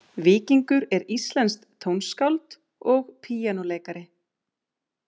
Víkingur er íslenskt tónskáld og píanóleikari.